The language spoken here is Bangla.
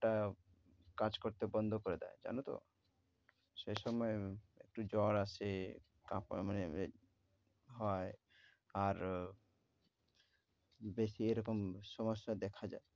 আহ কাজ করতে বন্ধ করে দেয় জানো তো। সে সময় একটু জ্বর আসে, কাঁপা মানে এ~ হয় আর বেশি এরকম সমস্যা দেখা যায়।